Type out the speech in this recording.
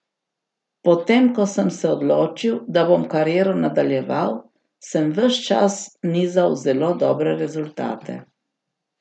Potem ko sem se odločil, da bom kariero nadaljeval, sem ves čas nizal zelo dobre rezultate.